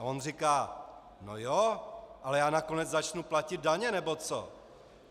A on říká: No jo, ale já nakonec začnu platit daně nebo co!